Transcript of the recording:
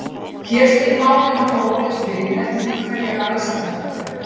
hér snýr málið nokkuð ólíkt við eftir því hverjar aðstæðurnar eru